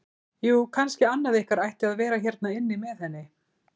Jú, kannski annað ykkar ætti að vera hérna inni með henni.